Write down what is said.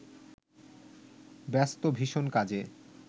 ব্যস্ত ভীষন কাজে